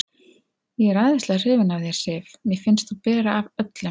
Ég er æðislega hrifinn af þér, Sif. mér finnst þú bera af öllum.